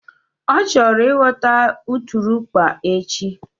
Ọ chọrọ ịghọta ụtụrụkpa echi